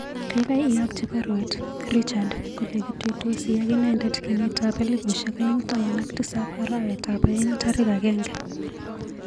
Kaikai iakchi baruet Richard kole kituisoti ak inendet kenyitab elbushiek aeng' taman ak tisap arawetap aeng' tarik agenge.